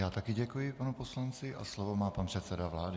Já také děkuji panu poslanci a slovo má pan předseda vlády.